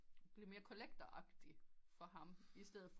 Blev mere collector agtigt for ham istedet for